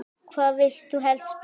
Hvar vilt þú helst spila?